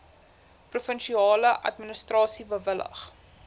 provinsiale administrasie bewillig